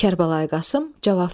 Kərbəlayı Qasım cavab verdi.